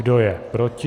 Kdo je proti?